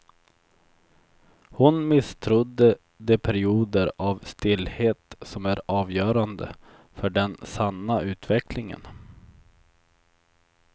Hon misstrodde de perioder av stillhet som är avgörande för den sanna utvecklingen.